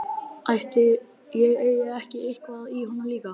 Ætli ég eigi ekki eitthvað í honum líka.